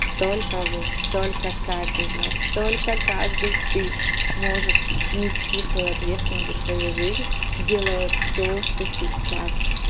только вы только каждый из вас только каждый ты можешь нести свою ответственность за свою жизнь делая то что сейчас